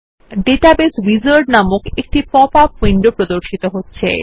database wizard নামক একটি pop up window প্রর্দশিত হচ্ছে